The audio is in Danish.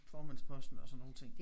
Formandsposten og sådan nogle ting